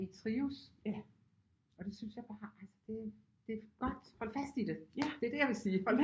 Trives og det synes jeg bare altså det det er godt hold fast i det det er det jeg vil sige hold